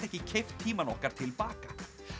ekki keypt tímann okkar til baka